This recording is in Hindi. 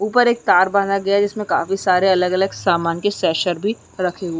ऊपर एक तार बांधा गया है जिसमे काफी सारे अलग-अलग सामान के शेशर भी रखे हुएं --